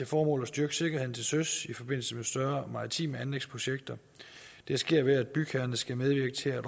formål at styrke sikkerheden til søs i forbindelse med større maritime anlægsprojekter det sker ved at bygherrerne skal medvirke til